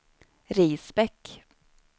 Risbäck